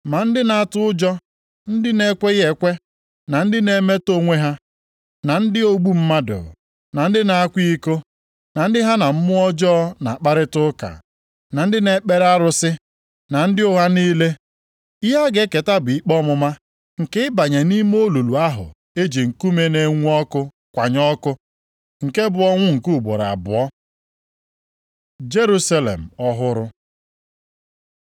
Ma ndị na-atụ ụjọ, ndị na-ekweghị ekwe, na ndị na-emetọ onwe ha, na ndị ogbu mmadụ, na ndị na-akwa iko, na ndị ha na mmụọ ọjọọ na-akparịta ụka, na ndị na-ekpere arụsị, na ndị ụgha niile, ihe ha ga-eketa bụ ikpe ọmụma nke ịbanye nʼime olulu ahụ e ji nkume na-enwu ọkụ kwanye ọkụ. Nke bụ ọnwụ nke ugboro abụọ.” Jerusalem ọhụrụ